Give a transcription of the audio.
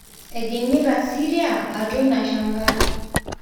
Ejingita Syria atua ina shangar